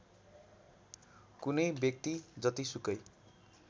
कुनै व्यक्ति जतिसुकै